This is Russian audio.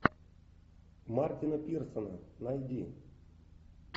мартина пирсона найди